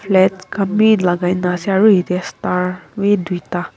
flats khan bi lagai na ase aro yetey star wi duita.